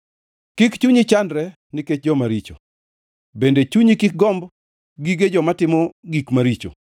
Kik chunyi chandre nikech joma richo bende chunyi kik gomb gige joma timo gik maricho;